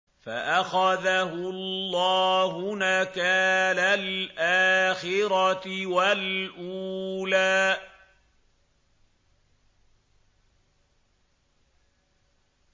فَأَخَذَهُ اللَّهُ نَكَالَ الْآخِرَةِ وَالْأُولَىٰ